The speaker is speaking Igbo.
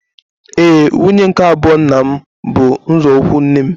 Éè, nwunye nke abụọ nna m bụ nzọụkwụ nne m